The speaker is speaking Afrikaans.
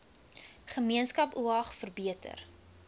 gemeenskap oag verbeter